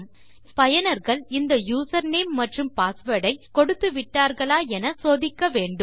முதலில் பயனர்கள் இந்த யூசர்நேம் மற்றும் passwordஐ கொடுத்து விட்டார்களா என சோதிக்க வேண்டும்